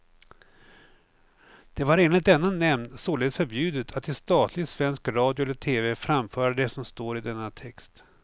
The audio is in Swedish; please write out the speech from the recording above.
Det var enligt denna nämnd således förbjudet att i statlig svensk radio eller tv framföra det som står i denna text.